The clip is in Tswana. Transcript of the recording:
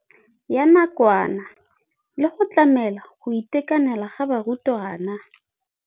ya nakwana le go tlamela go itekanela ga barutwana.